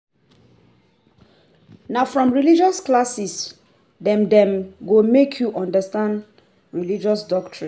Na from religious classes dem dem go make you understand religious doctrines.